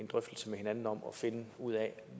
drøftelse med hinanden om og finde ud af